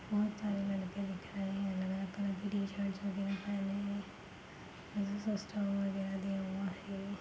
बहुत सारे लड़के बैठाए हैं अलग अलग --]